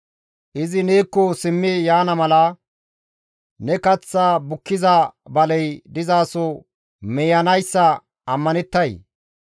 Izi neekko simmi yaana mala, ne kath bukkiza baley dizaso miiyanayssa ammanettay?